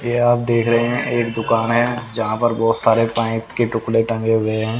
ये आप देख रहे हैं एक दुकान है जहां पर बहोत सारे पाइप के टुकड़े टंगे हुए हैं।